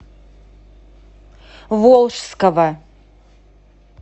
волжского